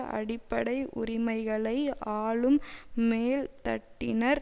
அடிப்படை உரிமைகளை ஆளும் மேல்தட்டினர்